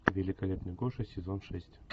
великолепный гоша сезон шесть